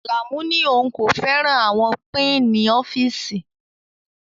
Alamu ní òun kò fẹ́ràn àwọn pinni ọ́fíìsì